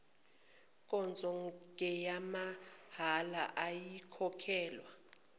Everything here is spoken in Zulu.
nkonzo ngeyamahhala ayikhokhelwa